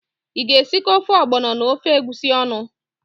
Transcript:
Ị ga-esikọ ofe ọgbọnọ na ofe egwusi ọnụ?